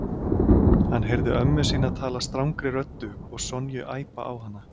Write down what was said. Hann heyrði ömmu sína tala strangri röddu og Sonju æpa á hana.